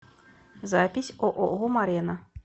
запись ооо морена